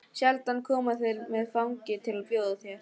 Sjaldan koma þeir með áfengi til að bjóða þér.